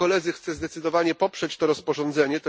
Chcę zdecydowanie poprzeć to rozporządzenie.